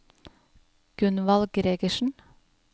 Gunvald Gregersen